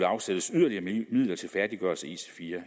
afsættes yderligere midler til færdiggørelse af ic4